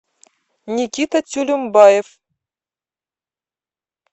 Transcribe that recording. никита тюлюмбаев